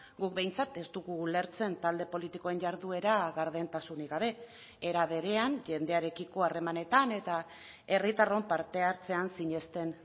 guk behintzat ez dugu ulertzen talde politikoen jarduera gardentasunik gabe era berean jendearekiko harremanetan eta herritarron parte hartzean sinesten